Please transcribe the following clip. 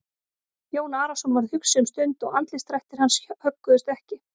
Jón Arason varð hugsi um stund og andlitsdrættir hans högguðust ekki.